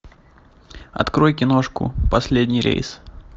открой киношку последний рейс